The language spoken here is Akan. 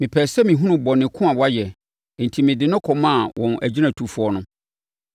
Mepɛɛ sɛ mehunu bɔne ko a wayɛ, enti mede no kɔmaa wɔn agyinatufoɔ no.